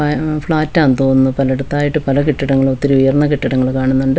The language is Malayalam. ആ ഉം ഫ്ലാറ്റാന്ന് തോന്നുന്നു പലയിടത്തായിട്ട് പല കെട്ടിടങ്ങൾ ഒത്തിരി ഉയർന്ന കെട്ടിടങ്ങൾ കാണുന്നുണ്ട് ഫ്രണ്ടിൽ --